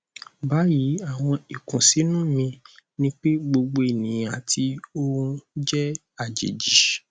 bayi awọn ikunsinu mi ni pe gbogbo eniyan ati ohun jẹ ajeji